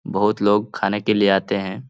बहुत लोग खाने के लिए आते हैं।